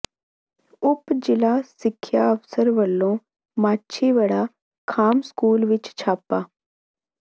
ਉਪ ਜ਼ਿਲ੍ਹਾ ਸਿੱਖਿਆ ਅਫਸਰ ਵੱਲੋਂ ਮਾਛੀਵਾੜਾ ਖਾਮ ਸਕੂਲ ਵਿੱਚ ਛਾਪਾ